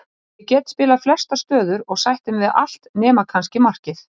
Ég get spilað flestar stöður og sætti mig við allt nema kannski markið.